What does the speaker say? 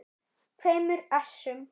tveimur essum.